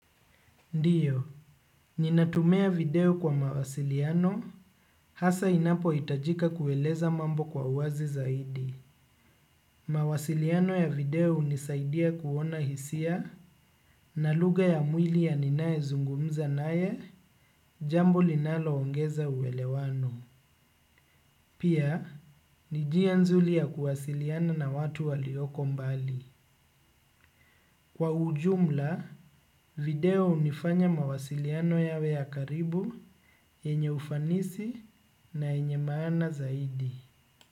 Ndio, ninatumia video kwa mawasiliano, hasa inapohitajika kueleza mambo kwa uwazi zaidi. Mawasiliano ya video hunisaidia kuona hisia na lugha ya mwili ya ninayezungumza naye, jambo linaloongeza uelewano. Pia, ni njia nzuri ya kuwasiliana na watu walioko mbali. Kwa ujumla, video hunifanya mawasiliano yawe ya karibu yenye ufanisi na yenye maana zaidi.